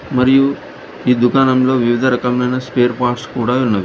మరియు ఈ దుకాణంలో వివిధ రకమైన స్పేర్ పార్ట్స్ కూడా ఉన్నవి.